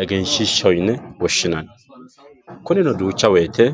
eggeenshishaho yine woshinanni kunino duucha woyite